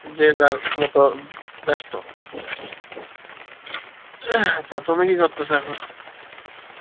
যে তার মোতো বেস্ত, তা তুমি কি করতেসো এখন